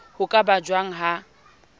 ho ka ba jwang ha